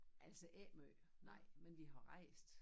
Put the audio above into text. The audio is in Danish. Altså ikke måj nej men vi har rejst